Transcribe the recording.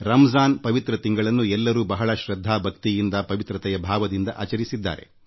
ರಂಜಾನ್ ಪವಿತ್ರ ಮಾಸವನ್ನು ಎಲ್ಲೆಡೆ ಪ್ರಾರ್ಥನೆ ಮತ್ತು ಧರ್ಮನಿಷ್ಠೆಯಿಂದ ಆಚರಿಸುತ್ತಿದ್ದಾರೆ